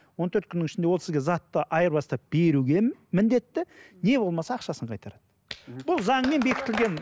он төрт күннің ішінде ол сізге затты айырбастап беруге міндетті не болмаса ақшасын қайтарады мхм бұл заңмен бекітілген